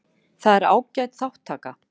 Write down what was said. Það er ágæt þátttaka